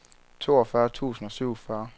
toogfyrre tusind og syvogfyrre